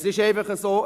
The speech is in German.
Es ist einfach so: